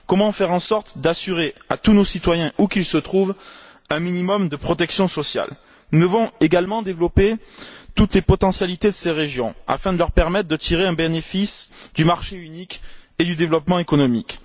Comment faire en sorte d'assurer à tous nos citoyens, où qu'ils se trouvent, un minimum de protection sociale? Nous devons également développer toutes les potentialités de ces régions afin de leur permettre de tirer un bénéfice du marché unique et du développement économique.